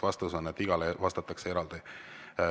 Vastus on, et igale vastatakse eraldi.